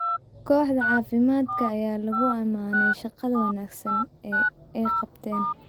Kooxda caafimaadka ayaa lagu ammaanay shaqada wanaagsan ee ay qabteen.